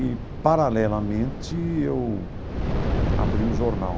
E, paralelamente, eu abri um jornal,